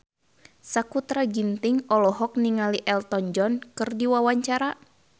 Sakutra Ginting olohok ningali Elton John keur diwawancara